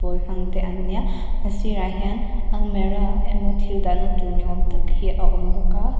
bawl hmang te an ni a a sirah hian almirah emaw thil dahna tur ni awm tak tehi a awm bawk a.